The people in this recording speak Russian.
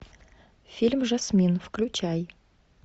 фильм жасмин включай